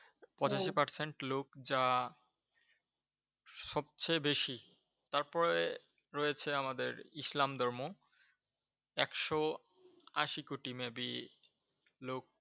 পঁচাশি Percent লোক যা সবচেয়ে বেশি, তারপরে রয়েছে আমাদের ইসলাম ধর্ম। একশো আশি কোটি Maybe লোক